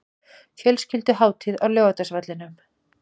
Fjölskylduhátíð á Laugardalsvellinum